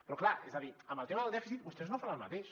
però clar és a dir amb el tema del dèficit vostès no fan el mateix